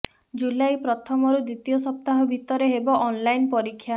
ଜୁଲାଇ ପ୍ରଥମରୁ ଦ୍ବିତୀୟ ସପ୍ତାହ ଭିତରେ ହେବ ଅନ୍ଲାଇନ୍ ପରୀକ୍ଷା